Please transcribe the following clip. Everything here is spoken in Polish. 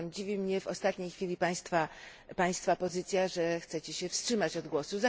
Zatem dziwi mnie w ostatniej chwili Państwa pozycja, że chcecie się wstrzymać od głosu.